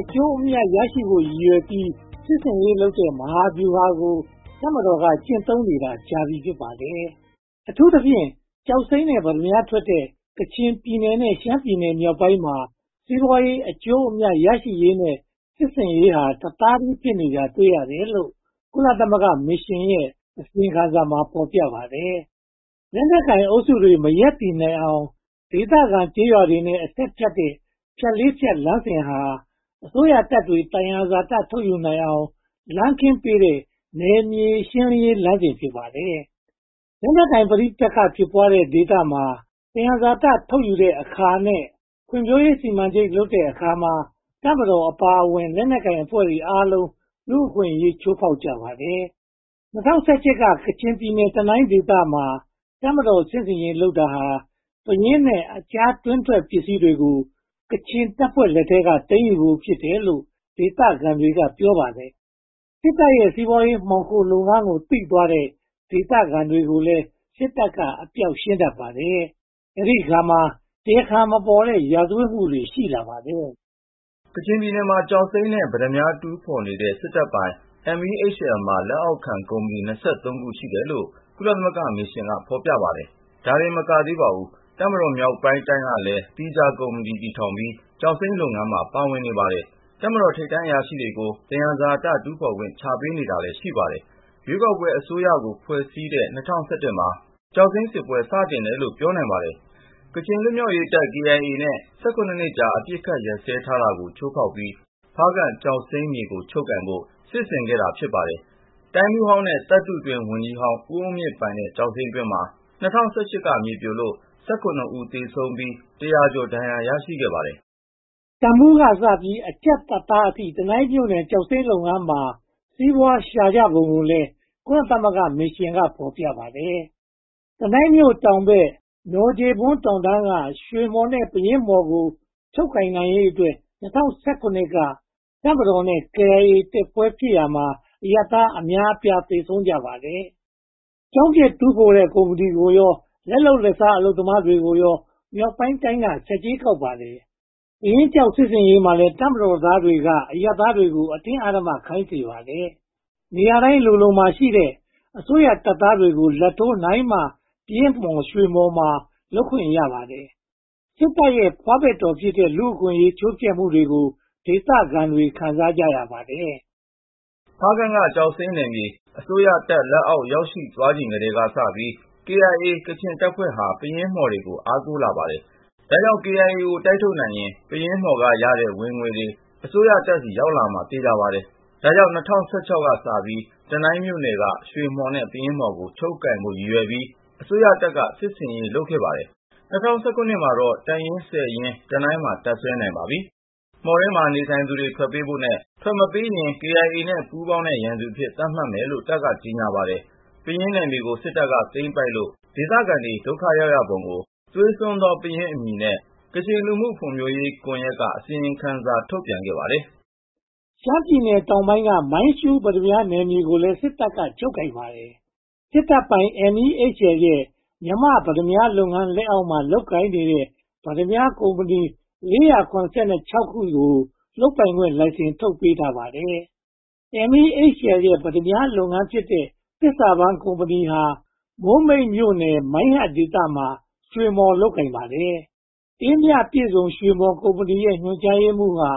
အကျိုးအမြတ် ရရှိဖို့ ရည်ရွယ်ပြီး စစ်ဆင်ရေးလုပ်တဲ့ မဟာဗျူဟာကို တပ်မတော်က ကျင့်သုံးနေတာကြာပြီ ဖြစ်ပါတယ်။ အထူးသဖြင့် ကျောက်စိမ်းနဲ့ ပတ္တမြားထွက်တဲ့ ကချင်ပြည်နယ်နဲ့ ရှမ်းပြည်နယ်မြောက်ပိုင်းမှာ စီးပွားရေးအကျိုးအမြတ် ရရှိရေးနဲ့ စစ်ဆင်ရေးဟာ တသားတည်းဖြစ်နေတာကို တွေ့ရပါတယ်လို့ ကုလသမဂ္ဂမစ်ရှင်ရဲ့ အစီရင်ခံစာမှာ ဖော်ပြထားပါတယ်။ လက်နက်ကိုင်အုပ်စုတွေ မရပ်တည်နိုင်အောင် ဒေသခံကျေးရွာတွေနဲ့ အဆက်ဖြစ်တဲ့ ဖြတ်လေးဖြတ်လမ်းစဉ်ဟာ အစိုးရတပ်တွေ သယံဇာတ ထုတ်ယူနိုင်အောင် လမ်းခင်းပေးတဲ့ နယ်မြေရှင်းလင်းရေးလမ်းစဉ် ဖြစ်ပါတယ်။ လက်နက်ကိုင်ပဋိပက္ခ ဖြစ်ပွားတဲ့ဒေသမှာ သယံဇာတ ထုတ်ယူတဲ့အခါနဲ့ ဖွံ့ဖြိုးရေးစီမံချက်လုပ်တဲ့အခါမှာ တပ်မတော်အပါအဝင် လက်နက်ကိုင်အဖွဲ့အားလုံး လူ့အခွင့်အရေး ချိုးဖောက်ကြပါတယ်။ ၂၀၁၈ မှာ ကချင်ပြည်နယ် တနိုင်းဒေသမှာ တပ်မတော်စစ်ဆင်ရေး လုပ်တာဟာ ပယင်းနဲ့ အခြားတွင်းထွက်ပစ္စည်းတွေကို KIA ကချင်တပ်ဖွဲ့လက်ထဲက သိမ်းယူဖို့ဖြစ်တယ်လို့ ဒေသခံတွေ ပြောပါတယ်။ စစ်တပ်ရဲ့ စီးပွားရေးမှောင်ခိုလုပ်ငန်းကို သိသွားတဲ့ ဒေသခံတွေကိုလည်း စစ်တပ်က အပျောက်ရှင်းတတ်ပါတယ်။ အဲဒီအခါမှာ တရားခံမပေါ်တဲ့ ရာဇဝတ်မှုတွေ ရှိလာပါတယ်။ ကချင်ပြည်နယ်မှာ ကျောက်စိမ်းနဲ့ ပတ္တမြား တူးဖော်နေတဲ့ စစ်တပ်ပိုင် MEHL မှာ လက်အောက်ခံကုမ္ပဏီ (၂၃) ခု ရှိတယ်လို့ ကုလသမဂ္ဂမစ်ရှင်က ဖော်ပြပါတယ်။ ဒါတင်မကသေးပါဘူး၊ တပ်မတော်မြောက်ပိုင်းတိုင်းကလည်း သီးခြားကုမ္ပဏီ တည်ထောင်ပြီး ကျောက်စိမ်းလုပ်ငန်းမှာ ပါဝင်နေပါတယ်။ တပ်မတော်ထိပ်တန်းအရာရှိတွေကို သယံဇာတ တူးဖော်ခွင့် ချပေးတာလည်း ရှိပါတယ်။ ရွေးကောက်ပွဲအစိုးရကို ဖွဲ့စည်းတဲ့ (၂၀၁၁) မှာ ကျောက်စိမ်းစစ်ပွဲ စတင်တယ်လို့ ပြောနိုင်ပါတယ်။ ကချင်လွတ်မြောက်ရေးတပ် KiA နဲ့ (၁၇) နှစ်ကြာ အပစ်အခတ်ရပ်စဲထားတာကို ချိုးဖျက်ပြီး ဖားကန့်ကျောက်စိမ်းမြေကို ချုပ်ကိုင်ဖို့ စစ်ဆင်ပါတော့တယ်။ တိုင်းမှူးဟောင်းနဲ့ သတ္တုတွင်းဝန်ကြီးဟောင်း ဦးအုန်းမြင့်ပိုင်တဲ့ ကျောက်စိမ်းတွင်းမှာ (၂၀၁၈) က မြေပြိုလို့ (၁၇) ဦး သေဆုံးခဲ့ပြီး တရာကျော် ဒဏ်ရာ ရရှိပါတယ်။ တပ်မှူးကစပြီး အကြပ်တပ်သားတွေအထိ တနိုင်းမြို့နယ် ကျောက်စိမ်းလုပ်ငန်းမှာ စီးပွားရှာကြပုံကိုလည်း ကုလသမဂ္ဂမစ်ရှင်က ဖော်ပြပါတယ်။ တနိုင်းမြို့တော်ဘက် နော်ဂျေဘွန်တောင်တန်းက ရွှေမှော်နဲ့ ပယင်းမှော်ကို ချုပ်ကိုင်နိုင်ရေးအတွက် (၂၀၁၇) က တပ်မတော်နဲ့ KIA တိုက်ပွဲဖြစ်ရာမှာ အရပ်သားအများအပြား သေဆုံးကြပါတယ်။ ကျောက်မျက်တူးဖော်တဲ့ ကုမ္ပဏီတွေကိုရော လက်လုပ်လက်စား အလုပ်သမားတွေကိုရော မြောက်ပိုင်းတိုင်းက ဆက်ကြေးကောက်ပါတယ်။ ပယင်းကျောက် စစ်ဆင်ရေးမှာလည်း တပ်မတော်သားတွေက အရပ်သားတွေကို အတင်းအဓမ္မခိုင်းစေပါတယ်။ နေရာတိုင်းလိုလိုမှာ ရှိနေတဲ့ အစိုးရတပ်သားတွေကို လာဘ်ထိုးနိုင်မှ ပယင်းမှော် ရွှေမှော်မှာ လုပ်ခွင့်ရပါတယ်။ စစ်တပ်ရဲ့ ဖွားဘက်တော်ဖြစ်တဲ့ လူ့အခွင့်အရေး ချိုးဖျက်မှုတွေကို ဒေသခံတွေ ခံစားကြရပါတယ်။ ဖားကန့်က ကျောက်စိမ်းနယ်မြေ အစိုးရတပ်လက်အောက် ရောက်ရှိသွားကတည်းက KIA ကချင်တပ်ဖွဲ့ဟာ ပယင်းမှော်တွေကို အားကိုးလာခဲ့ပါတယ်။ ဒါကြောင့် KIA ကို တိုက်ထုတ်နိုင်ရင် ပယင်းမှော်က ဝင်ငွေတွေ အစိုးရတပ်ဆီ ရောက်လာမှာ သေချာပါတယ်။ ဒါကြောင့် ၂၀၁၆ ကစပြီး တနိုင်းမြို့နယ်က ရွှေမှော်နဲ့ ပယင်းမှော်ကို ချုပ်ကိုင်ဖို့ ရည်ရွယ်ပြီး အစိုးရတပ်က စစ်ဆင်ရေး လုပ်ပါတယ်။ ၂၀၁၇ ရောက်တော့ တပ်ရင်း (၁၀) ရင်း တနိုင်းမှာ တပ်စွဲနိုင်နေပါပြီ။ မှော်မှာ နေထိုင်သူတွေ ထွက်ပေးဖို့နဲ့ ထွက်မပေးရင် KIA နဲ့ ပူးပေါင်းတဲ့ ရန်သူအဖြစ် သတ်မှတ်မယ်လို့ တပ်က ကြေညာပါတယ်။ ပယင်းနယ်မြေကို စစ်တပ်က သိမ်းပိုက်လို့ ဒေသခံတွေ ဒုက္ခရောက်ပုံကို “သွေးစွန်းသော ပယင်း” အမည်နဲ့ ကချင်လူမှုဖွံ့ဖြိုးရေးကွန်ရက်က လွန်ခဲ့တဲ့နှစ်က အစီရင်ခံစာတစောင် ထုတ်ပြန်ထားပါတယ်။ ရှမ်းပြည်နယ်တောင်ပိုင်းက မိုင်းရှူးပတ္တမြားနယ်မြေကိုလည်း စစ်တပ်က ချုပ်ကိုင်ထားပါတယ်။ စစ်တပ်ပိုင် MEHL ရဲ့ “မြန်မာ့ပတ္တမြားလုပ်ငန်း” လက်အောက်မှာ လုပ်ကိုင်နေတဲ့ ပတ္တမြားကုမ္ပဏီ (၄၇၆) ခုကို လုပ်ပိုင်ခွင့် လိုင်စင်ထုတ်ပေးထားပါတယ်။ MEHL ရဲ့ ပတ္တမြားလုပ်ငန်းဖြစ်တဲ့ သစ္စာပန်းကုမ္ပဏီဟာ မိုးမိတ်မြို့နယ် မိုင်းဟတ်ဒေသမှာ ရွှေမှော် လုပ်ကိုင်နေပါတယ်။ “အေးမြပြည့်စုံ” ရွှေမှော်ကုမ္ပဏီရဲ့ ညွှန်ကြားရေးမှူးဟာ